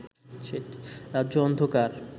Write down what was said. রাজ্য অন্ধকার